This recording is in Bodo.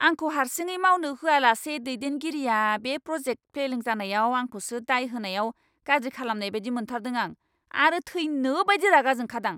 आंखौ हारसिङै मावनो होयालासे दैदेनगिरिया बे प्र'जेक्ट फेलें जानायाव आंखौसो दाय होनायाव गाज्रि खालामजानाय बायदि मोनथारदों आं आरो थैनोबायदि रागाजोंखादां!